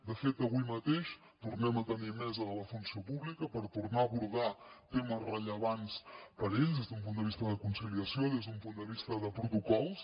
de fet avui mateix tornem a tenir mesa de la funció pública per tornar a abordar temes rellevants per a ells des d’un punt de vista de conciliació des d’un punt de vista de protocols